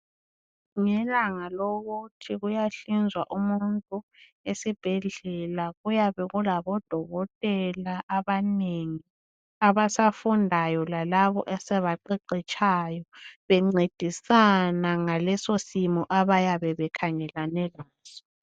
Ngelanga lokuthi kuyahlinzwa umuntu esibhedlela kuyabekulabodokotela abanengi abafundayo lalabo asebaqeqetshayo, bencedisana ngalesosimo abayabe bekhangelane laso.